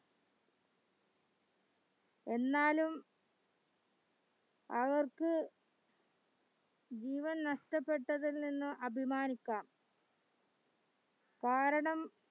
എന്നാലും അവർക്ക് ജീവൻ നഷ്ടപെട്ടതിൽ നിന്ന് അഭിമാനിക്ക കാരണം